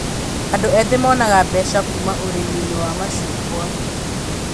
Andũ ethi monaga mbeca kũma ũrĩmi-inĩ wa macungwa